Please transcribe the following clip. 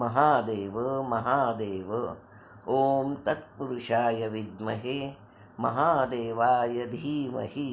महादेव महादेव ॐ तत्पुरुषाय विद्महे महादेवाय धीमहि